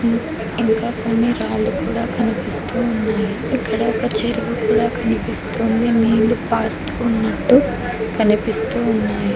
ఇంకా కొన్ని రాళ్లు కూడా కనిపిస్తూ ఉన్నాయి ఇక్కడ ఒక చెరువు కూడా కనిపిస్తుంది నీళ్లు పారుతూ ఉన్నట్టు కనిపిస్తూ ఉన్నాయి.